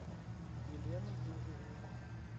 елену юрьевну